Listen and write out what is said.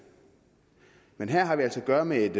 men her har vi altså at gøre med